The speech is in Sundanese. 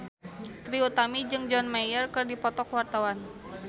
Trie Utami jeung John Mayer keur dipoto ku wartawan